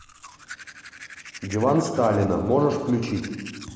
диван сталина можешь включить